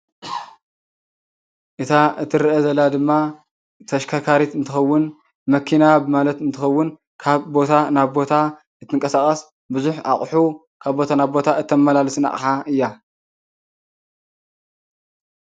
እታ እትረአ ዘላ ድማ ተሽከርካሪት እትከውን መኪና ማለት እንትከውን ካብ ቦታ ናብ ቦታ እተንቀሳቀስ ብዙሕ ኣቁሑ ካብ ቦታ ናብ ቦታ እተመላልስን ኣቅሓ እያ።